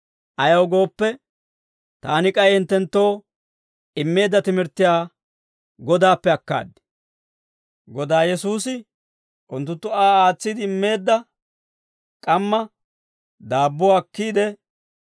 Ayaw gooppe, taani k'ay hinttenttoo immeedda timirttiyaa Godaappe akkaad. Godaa Yesuusi unttunttu Aa aatsiide immeedda k'amma daabbuwaa akkiide,